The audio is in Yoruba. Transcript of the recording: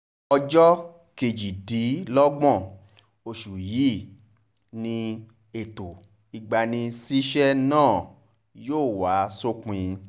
ọjọ́ kejìdínlọ́gbọ̀n oṣù yìí ni ètò ìgbanisíṣẹ́ náà yóò wá sópin